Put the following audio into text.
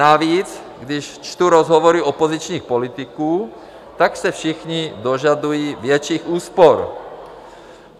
Navíc když čtu rozhovory opozičních politiků, tak se všichni dožadují větších úspor.